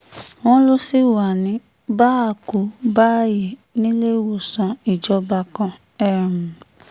wọ́n lọ sí wa um ní bá-a-kú-bá-a-yé níléelọ́sàn ìjọba kan um